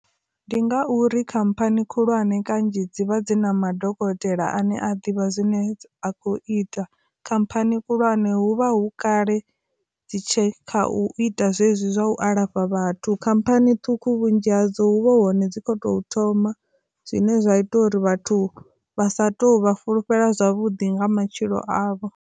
Ndi ngauri khamphani khulwane kanzhi dzivha dzi na madokotela ane a ḓivha zwine a khou ita, khamphani khulwane huvha hu kale dzi tshe kha u ita zwezwi zwa u alafha vhathu. Khamphani ṱhukhu vhunzhi hadzo hu vhe hone dzi khou tou thoma zwine zwa ita uri vhathu vha sa tou vha fulufhela zwavhuḓi nga matshilo avho.